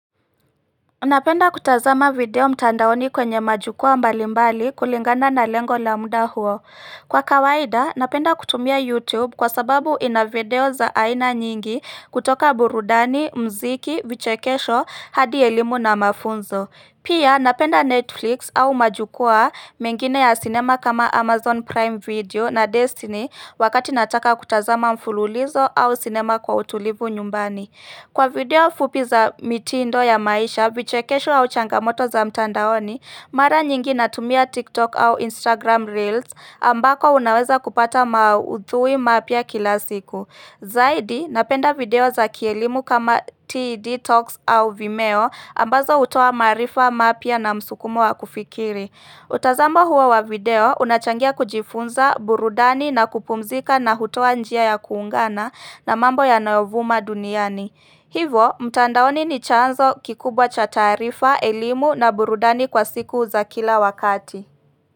Napenda kutazama video mtandaoni kwenye majukwa mbalimbali kulingana na lengo la muda huo Kwa kawaida napenda kutumia YouTube kwa sababu ina video za aina nyingi kutoka burudani, muziki, vichekesho, hadi elimu na mafunzo Pia napenda Netflix au majukwa mengine ya sinema kama Amazon Prime video na Destiny wakati nataka kutazama mfululizo au sinema kwa utulivu nyumbani Kwa video fupi za mitindo ya maisha, vichekesho au changamoto za mtandaoni, mara nyingi natumia TikTok au Instagram reels ambako unaweza kupata maudhui mapya kila siku. Zaidi, napenda video za kielimu kama TED Talks au Vimeo ambazo hutoa maarifa mapya na msukumo wa kufikiri. Kutazama huo wa video unachangia kujifunza burudani na kupumzika na hutoa njia ya kuungana na mambo yanayovuma duniani. Hivo, mtandaoni ni chanzo kikubwa cha taarifa, elimu na burudani kwa siku za kila wakati.